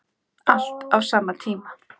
Allt á sama tíma.